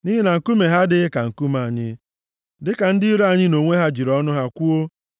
Nʼihi na nkume ha adịghị ka Nkume anyị, dịka ndị iro anyị, nʼonwe ha, jiri ọnụ ha kwuo.